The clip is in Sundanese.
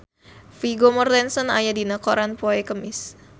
Vigo Mortensen aya dina koran poe Kemis